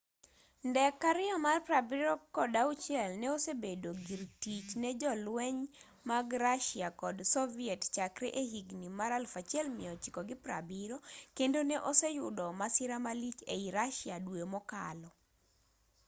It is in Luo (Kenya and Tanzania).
ndek il-76 no osebedo gir tich ne jolweny mag russia kod soviet chakre e higni mag 1970 kendo ne oseyudo masira malich ei russia dwe mokalo